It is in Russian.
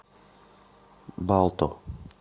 балто